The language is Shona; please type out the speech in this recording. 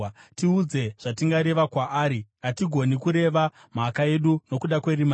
“Tiudze zvatingareva kwaari; hatigoni kureva mhaka yedu nokuda kwerima redu.